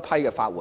批出法援。